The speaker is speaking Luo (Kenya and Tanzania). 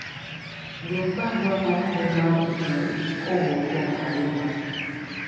dwok barua mar mbui mar email kowuok kuom Halima